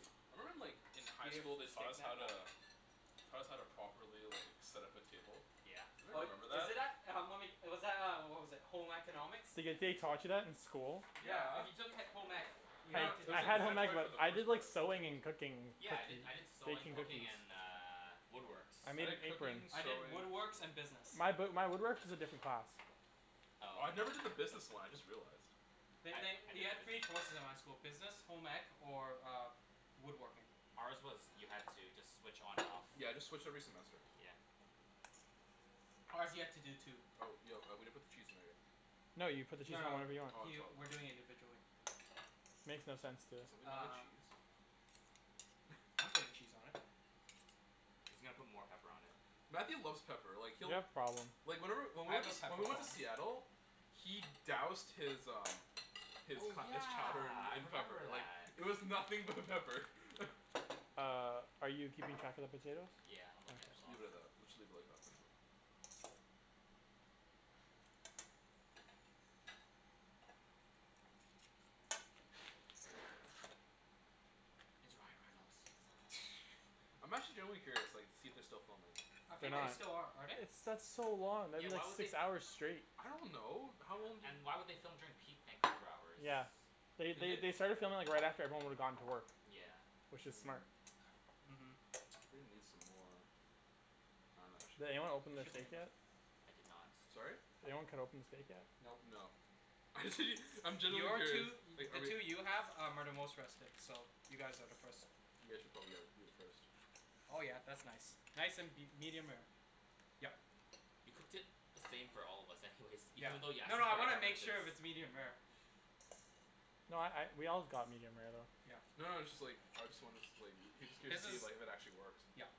Thank you. I remember in like in high school they Taught taught us us how how to- to- Taught us how to properly, like, set up a table. Yeah. Oh, Anybody remember is that? it that- uh uh, was that, uh, what was it, Home Economics? The- the- they taught you that in school? Yeah, Yeah if you took he- home ec, you No, I- no, had to it do was, I like, that had home ec mandatory for stuff. but the I did first part like I sewing think. and cooking Yeah. I did- cookies, I did sewing, baking cooking, cookies. and uh, woodworks. I made an I did apron. cooking, I did sewing. woodworks and business. My b- my woodwork is a different class. I Oh. never did the business one, I just realized. I They- I did they- you had the three business. choices at my school. Business, home ec, or woodworking. Ours was you had to just switch on and off. Yeah, I just switch every semester. Yeah. Ours, you had to do two. Oh, yo, uh, we didn't put the cheese in there yet. No, you put the cheese No, no, whenever you want. he Oh we're doing it I'm sorry. individually. Makes no sense Can to- somebody get the Uh. cheese? I'm putting cheese on it. He's gonna put more pepper on it. Matthew loves pepper. Like You he'll- have problem. Like whenever- when I we went have a to- pepper when we went to problem. Seattle- He doused his, um His Oh co- his chowder yeah, I in remember pepper, like, that. it was nothing but pepper. Uh, are you keeping track of the potatoes? Yeah, I'm looking at the Okay. clock. Leave it at that. Let's just leave it like that for now. It's Ryan Reynolds. I'm actually genuinely curious, like, to see if they're still filming. I They're think they not. still are. Are they? It's- that's so long that'd Yeah, be like why would they six f- hours straight. I don't know. How long do- And why would they film during peak Vancouver hours? Yeah. They- Did they- they? they started filming right after, like, everyone would've gone to work. Yeah. Which is smart. uh-huh I'm gonna need some more- I dunno, actually Did anyone open It the should be steak enough. yet? I did not. Sorry? Did anyone cut open the steak yet? Nope. No. Actually I'm genuinely Your curious two, i- Like the are we- two you have are the most rested, so you guys are the first. You guys should probably, like, do it first. Oh yeah, that's nice. Nice and be- medium rare. Yep. You cooked it the same for all of us anyways. Yeah. Even thought you asked No, us no for I our wanna make preferences. sure if it's medium rare. No I- I we all got medium rare though. Yeah. No, no it's just, like, I just wanna, like, I was just curious His to see if is- like if it actually works. yep